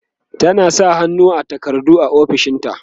tana sa hannu a takardu a ofishinta